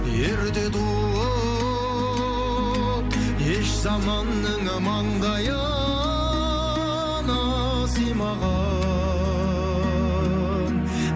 ерте туып еш заманның маңдайына сыймаған